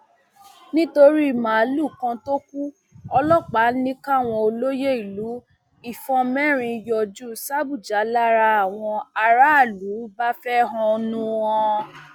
nítorí màálùú kan tó kù ọlọpàá ní káwọn olóyè ìlú ìfọn mẹrin yọjú sàbújá làwọn aráàlú bá fẹhónú hàn